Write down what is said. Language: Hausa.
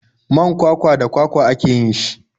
Man kwakwa da kwakwa ake yin shi.